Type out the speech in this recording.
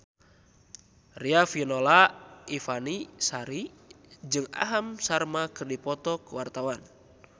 Riafinola Ifani Sari jeung Aham Sharma keur dipoto ku wartawan